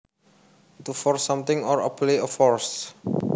To force something or apply a force